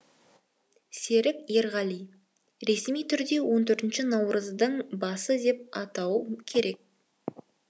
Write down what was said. серік ерғали ресми түрде он төртінші наурыздың басы деп атау керек